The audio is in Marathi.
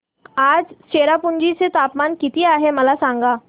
आज चेरापुंजी चे तापमान किती आहे मला सांगा